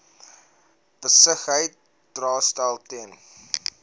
besigheid daarstel ten